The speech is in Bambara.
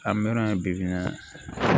A mɛnna yen bi bi in na